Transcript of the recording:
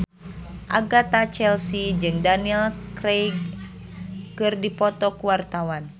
Agatha Chelsea jeung Daniel Craig keur dipoto ku wartawan